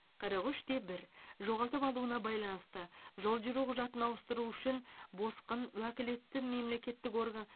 қырық үш те бір жоғалтып алуына байланысты жол жүру құжатын ауыстыру үшін босқын уәкілетті мемлекеттік орган